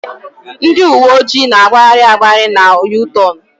Ndị uwe ojii na-agbagharị agbagharị na U-tornu.